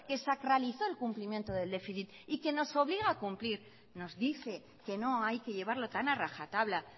que sacralizó el cumplimiento del déficit y que nos obliga a cumplir nos dice que no hay que llevarlo tan a rajatabla